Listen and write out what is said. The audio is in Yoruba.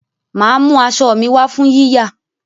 Màá mú aṣọ mi wá fún yíyà